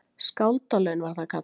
Skáldalaun var það kallað!